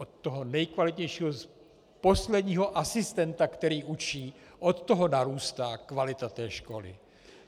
Od toho nejkvalitnějšího posledního asistenta, který učí, od toho narůstá kvalita té školy.